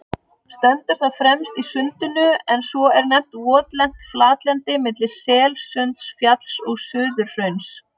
Stendur það fremst í Sundinu, en svo er nefnt votlent flatlendi milli Selsundsfjalls og Suðurhrauns.